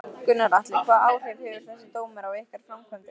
Gunnar Atli: Hvaða áhrif hefur þessi dómur á ykkar framkvæmdir?